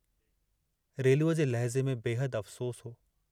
रेलूअ जे लहज़े में बेहद अफ़सोसु हो।